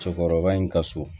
Cɛkɔrɔba in ka so